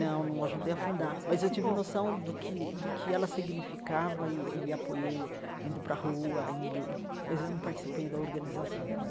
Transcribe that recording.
Não, não ajudei a fundar, mas eu tive noção do que do que ela significava e e apoiei indo para a rua, indo mas eu não participei da organização.